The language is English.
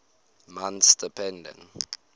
months depending